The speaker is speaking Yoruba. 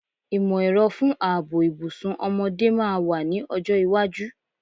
Ìmọ̀-ẹ̀rọ fún ààbò ìbùsùn ọmọdé máa wà ní ọjọ́ iwájú.